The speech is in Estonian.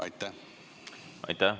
Aitäh!